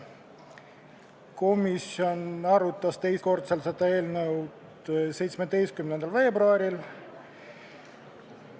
Komisjon arutas teist korda seda eelnõu 17. veebruaril.